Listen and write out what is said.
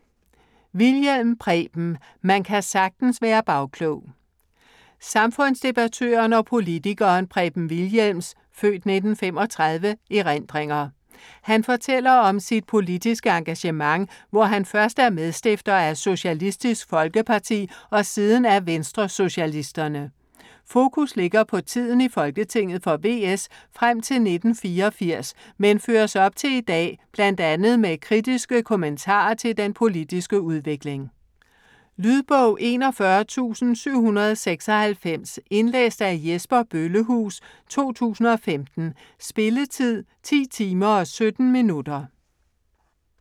Wilhjelm, Preben: Man kan sagtens være bagklog Samfundsdebattøren og politikeren Preben Wilhjelms (f. 1935) erindringer. Han fortæller om sit politiske engagement, hvor han først er medstifter af Socialistisk Folkeparti og siden af Venstresocialisterne. Fokus ligger på tiden i Folketinget for VS frem til 1984, men føres op til i dag, bl.a. med kritiske kommentarer til den politiske udvikling. Lydbog 41796 Indlæst af Jesper Bøllehuus, 2015. Spilletid: 10 timer, 17 minutter.